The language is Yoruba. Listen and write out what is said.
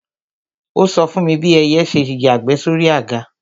Ó sọ fún mi bí ẹyẹ ṣe yàgbẹ́ sóri àga